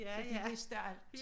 Så de vidste alt